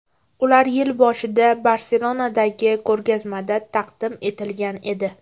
Ular yil boshida Barselonadagi ko‘rgazmada taqdim etilgan edi.